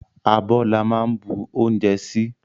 Abó la máa ń bu oúnjẹ sí